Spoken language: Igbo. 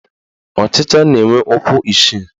Ọchịcha na-enwe ụkwụ isii